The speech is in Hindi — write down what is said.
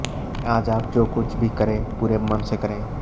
आज आप जो कुछ भी करें पूरे मन से करें